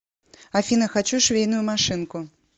афина хочу швейную машинку